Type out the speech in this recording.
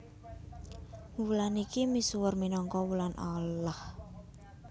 Wulan iki misuwur minangka wulan Allah